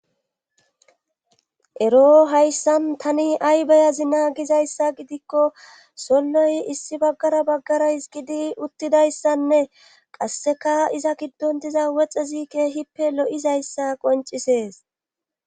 ero hayssan tani ay bayazi na gizayssa gidikko solloy issi baggara baggaras gidi uttidayssanne qasseka iza giddon diza woxe ziike hippe lo7izayssa qoncisees